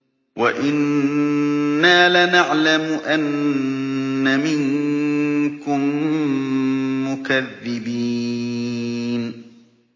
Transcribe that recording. وَإِنَّا لَنَعْلَمُ أَنَّ مِنكُم مُّكَذِّبِينَ